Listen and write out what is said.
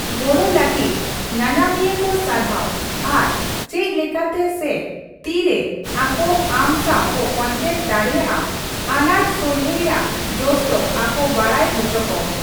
ᱜᱚᱲᱚ ᱞᱟᱹᱜᱤᱫ ᱧᱟᱧᱟᱢᱤᱭᱟᱹ ᱠᱚ ᱥᱟᱨᱦᱟᱣ ᱟᱨ ᱪᱮᱫ ᱞᱮᱠᱟᱛᱮ ᱥᱮ ᱛᱤᱨᱮ ᱟᱠᱚ ᱟᱢ ᱥᱟᱣ ᱠᱚ ᱠᱚᱱᱴᱮᱠᱴ ᱫᱟᱲᱮᱭᱟᱜᱼᱟ, ᱟᱱᱟᱴ ᱥᱚᱞᱦᱮ ᱨᱮᱭᱟᱜ ᱡᱚᱥ ᱫᱚ ᱟᱠᱚ ᱵᱟᱰᱟᱭ ᱦᱚᱪᱚ ᱠᱚᱢ ᱾